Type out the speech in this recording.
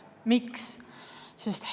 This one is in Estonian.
Miks?